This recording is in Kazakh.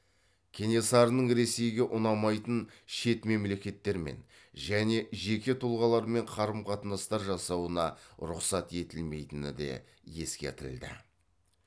кенесарының ресейге ұнамайтын шет мемлекеттермен және жеке тұлғалармен қарым қатынастар жасауына рұқсат етілмейтіні де ескертілді